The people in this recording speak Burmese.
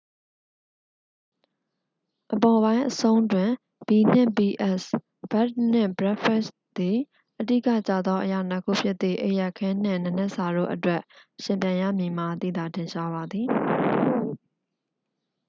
အပေါ်ပိုင်းအဆုံးတွင်၊ ဘီနှင့်ဘီအက်စ် ဘက်ဒ်နှင့်ဘရိတ်ဖက်စ် သည် အဓိကကျသောအရာနှစ်ခုဖြစ်သည့် အိပ်ရာခင်းနှင့် နံနက်စာတို့အတွက် ယှဉ်ပြိုင်ရမည်မှာ သိသာထင်ရှားပါသည်။